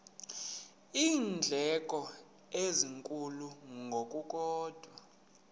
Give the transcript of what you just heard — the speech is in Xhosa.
iindleko ezinkulu ngokukodwa